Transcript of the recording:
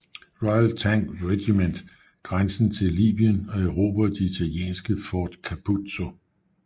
Royal Tank Regiment grænsen til Libyen og erobrede det italienske Fort Capuzzo